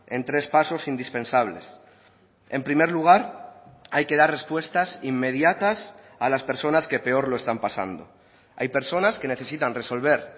en tres pasos indispensables en primer lugar hay que dar respuestas inmediatas a las personas que peor lo están pasando hay personas que necesitan resolver